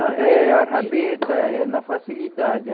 Eh, a rabeta é na facilidade.